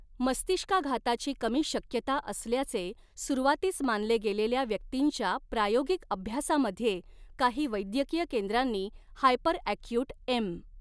मस्तिष्काघाताची कमी शक्यता असल्याचे सुरुवातीस मानले गेलेल्या व्यक्तींच्या प्रायोगिक अभ्यासामध्ये, काही वैद्यकीय केंद्रांनी हायपरअॅक्यूट एम.